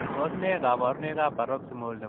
Tos ne kabarunaik ap Paroxymal nepoo tigitik ?